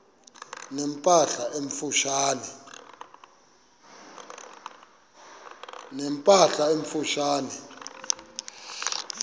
ne mpahla emfutshane